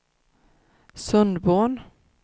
Sundborn